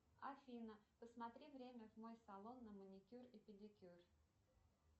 афина посмотри время в мой салон на маникюр и педикюр